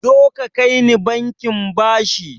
Zoka kaini bankin bashi